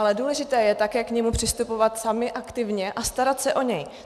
Ale důležité je také k němu přistupovat sami aktivně a starat se o něj.